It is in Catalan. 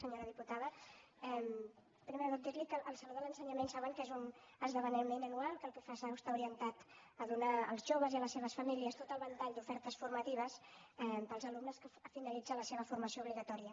senyora diputada primer de tot dir li que el saló de l’ensenyament saben que és un esdeveniment anual que el que fa és estar orientat a donar als joves i a les seves famílies tot el ventall d’ofertes formatives per als alumnes que finalitzen la seva formació obligatòria